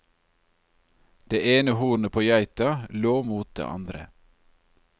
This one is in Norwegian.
Det ene hornet på geita lå mot det andre.